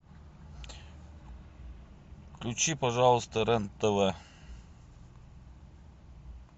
включи пожалуйста рен тв